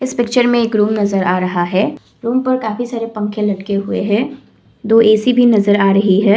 इस पिक्चर में एक रूम नजर आ रहा है रूम पर काफी सारे पंखे लटके हुए हैं दो ऐ_सी भी नजर आ रही है।